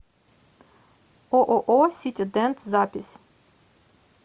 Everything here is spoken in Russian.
ооо сити дент запись